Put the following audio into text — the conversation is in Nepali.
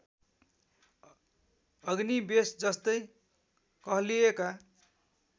अग्निवेश जस्तै कहलिएका